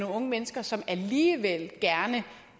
unge mennesker som alligevel gerne